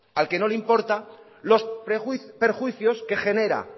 al que no le importan los perjuicios que genera